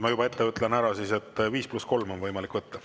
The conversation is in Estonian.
Ma juba ette ütlen ära, et 5 + 3 minutit on võimalik võtta.